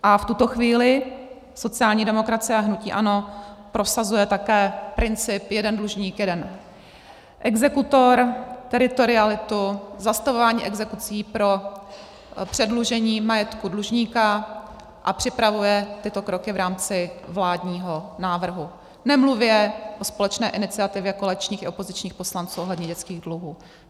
A v tuto chvíli sociální demokracie a hnutí ANO prosazuje také princip jeden dlužník - jeden exekutor, teritorialitu, zastavování exekucí pro předlužení majetku dlužníka a připravuje tyto kroky v rámci vládního návrhu, nemluvě o společné iniciativě koaličních i opozičních poslanců ohledně dětských dluhů.